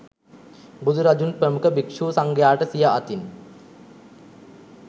බුදු රජුන් ප්‍රමුඛ භික්ෂු සංඝයාට සිිය අතින්